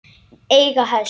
Eiga hest.